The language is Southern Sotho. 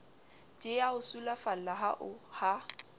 di a o sulafalla ha